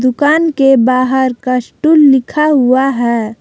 दूकान के बाहर का कस्टल लिखा हुआ है।